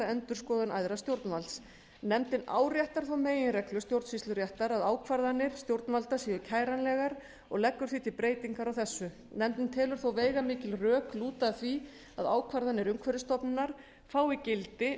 endurskoðun æðra stjórnvalds nefndin áréttar þá meginreglu stjórnsýsluréttar að ákvarðanir stjórnvalda séu kæranlegar og leggur því til breytingu á þessu nefndin telur þó veigamikil rök lúta að því að ákvarðanir umhverfisstofnunar fái gildi